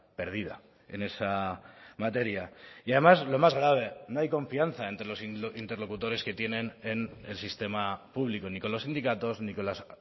perdida en esa materia y además lo más grave no hay confianza entre los interlocutores que tienen en el sistema público ni con los sindicatos ni con las